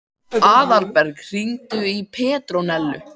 Aðalberg, hringdu í Petrónellu.